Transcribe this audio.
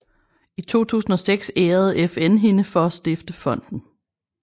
I 2006 ærede FN hende for at stifte fonden